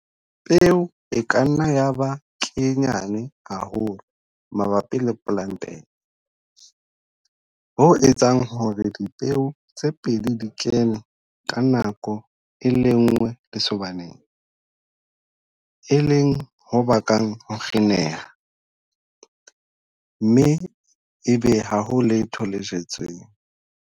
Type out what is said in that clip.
Peo e ka nna yaba ke e nyane haholo mabapi le plantere, hoo etsang hore dipeo tse pedi di kene ka nako e le nngwe lesobaneng - e leng ho bakang ho kgineha, mme ebe ha ho letho le jetsweng.